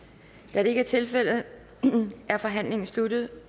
da det ikke er tilfældet er forhandlingen sluttet